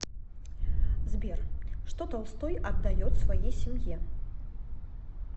сбер что толстой отдает своей семье